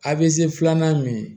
A be se filanan min